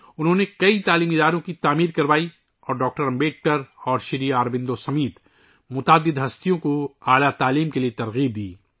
انہوں نے بہت سے تعلیمی اداروں کی تعمیر کرائی اور ڈاکٹر امبیڈکر اور شری اروبندو سمیت کئی شخصیات کو اعلیٰ تعلیم کے لئے متاثر کیا